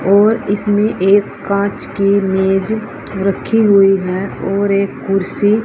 और इसमें एक कांच की मेज रखी हुई है और एक कुर्सी--